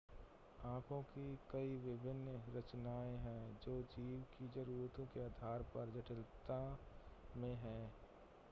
आंखों की कई विभिन्न रचनाएं हैं जो जीव की ज़रूरतों के आधार पर जटिलता में हैं